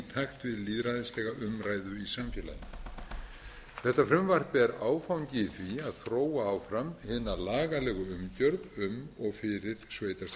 takt við lýðræðislega umræðu í samfélaginu þetta frumvarp er áfangi í því að þróa áfram hina lagalegu umgjörð um og fyrir